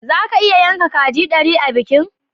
Zaka iya yanka kaji dari a bikin?